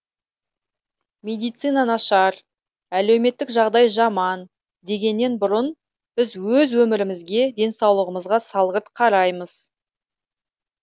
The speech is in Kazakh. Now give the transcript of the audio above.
медицина нашар әлеуметтік жағдай жаман дегеннен бұрын біз өз өмірімізге денсаулығымызға салғырт қараймыз